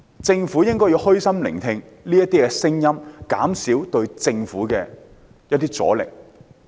政府應虛心聆聽這些聲音，減少對政府的阻力。